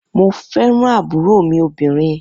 Mo fẹ́ràn ń àbúrò mí obìnrin.